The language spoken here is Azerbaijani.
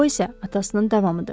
O isə atasının davamıdır.